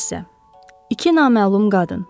İki naməlum qadın.